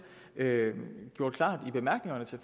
gjort klart i bemærkningerne til